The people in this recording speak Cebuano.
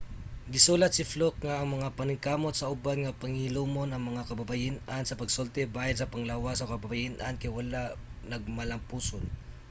gisulat si fluke nga ang mga paningkamot sa uban nga pahilumon ang mga kababayen-an sa pagsulti bahin sa panglawas sa kababayen-an kay wala nagmalampuson